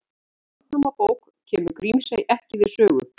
Í Landnámabók kemur Grímsey ekki við sögu.